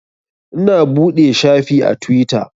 Ina buɗe shafi a Tiwita